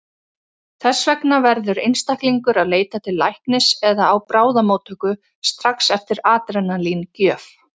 Þess vegna verður einstaklingur að leita til læknis eða á bráðamóttöku strax eftir adrenalín-gjöf.